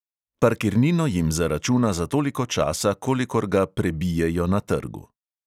Parkirnino jim zaračuna za toliko časa, kolikor ga prebijejo na trgu.